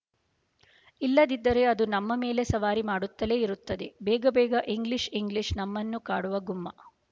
ಇಲ್ಲದಿದ್ದರೆ ಅದು ನಮ್ಮ ಮೇಲೆ ಸವಾರಿ ಮಾಡುತ್ತಲೇ ಇರುತ್ತದೆ ಬೇಗ ಬೇಗ ಇಂಗ್ಲೀಷ್ ಇಂಗ್ಲೀಷ್ ನಮ್ಮನ್ನು ಕಾಡುವ ಗುಮ್ಮ